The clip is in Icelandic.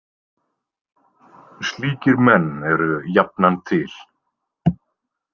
Slíkir menn eru jafnan til.